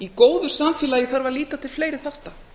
í góðu samfélagi þarf að líta til fleiri þátta